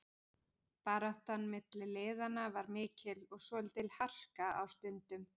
Baráttan milli liðanna var mikil og svolítil harka á stundum.